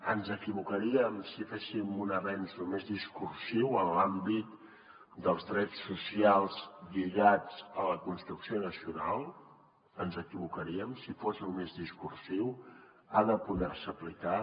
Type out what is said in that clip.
ens equivocaríem si féssim un avenç només discursiu en l’àmbit dels drets socials lligats a la construcció nacional ens equivocaríem si fos només discursiu ha de poder se aplicar